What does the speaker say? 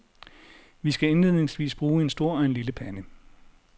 Vi skal indledningsvis bruge en stor og en lille pande.